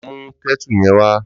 Lò mú kètú yèn wá